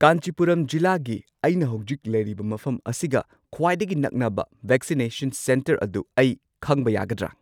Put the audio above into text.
ꯀꯥꯟꯆꯤꯄꯨꯔꯝ ꯖꯤꯂꯥꯒꯤ ꯑꯩꯅ ꯍꯧꯖꯤꯛ ꯂꯩꯔꯤꯕ ꯃꯐꯝ ꯑꯁꯤꯒ ꯈ꯭ꯋꯥꯏꯗꯒꯤ ꯅꯛꯅꯕ ꯚꯦꯛꯁꯤꯅꯦꯁꯟ ꯁꯦꯟꯇꯔ ꯑꯗꯨ ꯑꯩ ꯈꯪꯕ ꯌꯥꯒꯗ꯭ꯔꯥ?